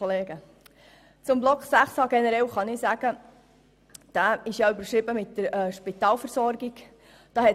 Zu Block 6, der mit «Spitalversorgung» überschrieben ist, kann ich Folgendes sagen: